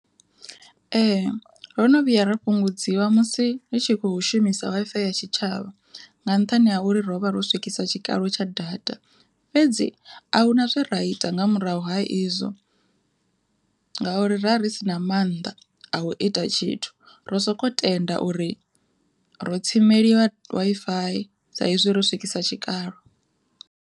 Ee rono vhuya ra fhungudziwa musi ri tshi khou shumisa Wi-Fi ya tshitshavha nga nṱhani ha uri ro vha ro swikisa tshikalo tsha data, fhedzi a huna zwe ra ita nga murahu ha izwo, ngauri ra ri si na maanḓa a u ita tshithu, ro soko tenda uri ro tsimeliwa Wi-Fi sa izwi ro swikisa tshikalo.